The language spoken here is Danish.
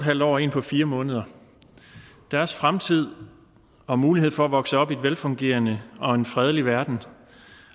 halv år og en på fire måneder deres fremtid og mulighed for at vokse op i en velfungerende og en fredelig verden